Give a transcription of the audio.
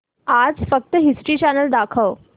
आज फक्त History Channel दाखव